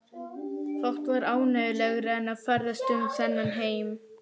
Fátt var ánægjulegra en að ferðast um þennan heim.